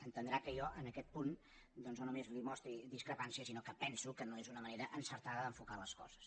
entendrà que jo en aquest punt doncs no només li mostri discrepància sinó que penso que no és una manera encertada d’enfocar les coses